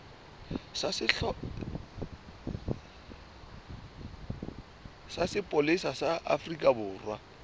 sa sepolesa sa afrika borwa